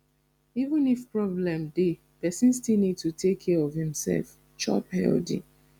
even if problem dey person still need to take care of im self chop dey healthy